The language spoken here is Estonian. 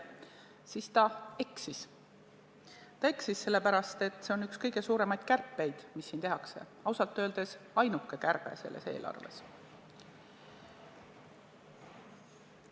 Ta eksis sellepärast, et see on üks kõige suuremaid kärpeid, mis siin tehakse, ja ausalt öeldes ainuke kärbe selles eelarves.